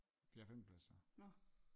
Fjerde femte plads så